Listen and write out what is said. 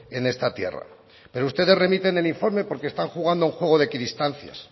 en esta tierra pero ustedes remiten el informe porque están jugando a un juego de equidistancias